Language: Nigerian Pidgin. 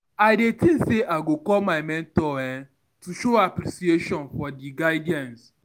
I dey think say I go call my mentor to show appreciation for dia guidance.